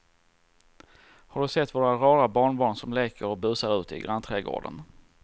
Har du sett våra rara barnbarn som leker och busar ute i grannträdgården!